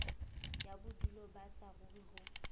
ya bodulo ba saruri ho